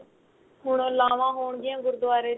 ਹੁਣ ਲਾਵਾਂ ਹੋਣਗੀਆਂ ਗੁਰਦੁਆਰੇ ਚ